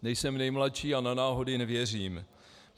Nejsem nejmladší a na náhody nevěřím.